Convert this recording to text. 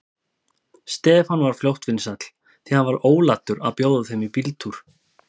Stefán varð fljótt vinsæll, því hann var ólatur að bjóða þeim í bíltúr.